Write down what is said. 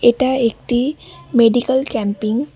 এটা একটি medical camping.